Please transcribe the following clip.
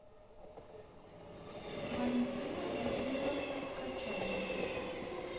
валентина владимировна корчагина